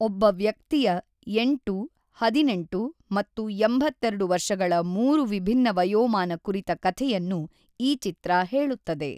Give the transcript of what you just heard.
ಒಬ್ಬ ವ್ಯಕ್ತಿಯ ೮, ೧೮ ಮತ್ತು ೮೨ ವರ್ಷಗಳ ಮೂರು ವಿಭಿನ್ನ ವಯೋಮಾನ ಕುರಿತ ಕಥೆಯನ್ನು ಈ ಚಿತ್ರ ಹೇಳುತ್ತದೆ.